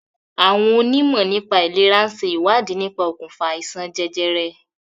Àwọn onímọ̀ nípà ìlèra ń ṣe ìwádìí nípa okùnfà àìsàn jẹjẹrẹ.